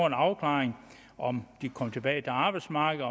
en afklaring af om de kan komme tilbage til arbejdsmarkedet